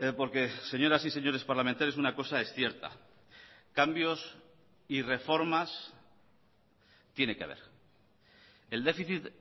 porque señoras y señores parlamentarios una cosa es cierta cambios y reformas tiene que haber el déficit